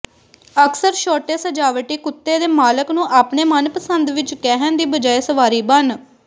ਅਕਸਰ ਛੋਟੇ ਸਜਾਵਟੀ ਕੁੱਤੇ ਦੇ ਮਾਲਕ ਨੂੰ ਆਪਣੇ ਮਨਪਸੰਦ ਵਿੱਚ ਕਹਿਣ ਦੀ ਬਜਾਏ ਸਵਾਰੀ ਬਣ